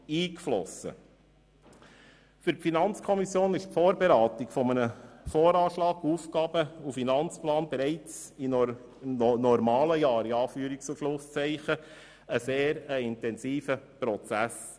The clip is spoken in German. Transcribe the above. Für die FikO ist die Vorberatung des VA und des AFP bereits während normalen Jahren ein sehr intensiver Prozess.